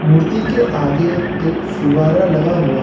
मूर्ति के आगे एक फुआरा लगा हुआ है।